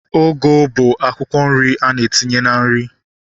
Ugu bụ akwụkwọ nri a na-etinye na nri